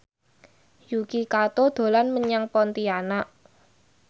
Yuki Kato dolan menyang Pontianak